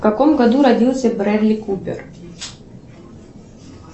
в каком году родился брэдли купер